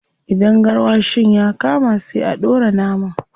Idan garwashin ya kama, sai a dora naman.